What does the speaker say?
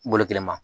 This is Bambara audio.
Bolo kelen ma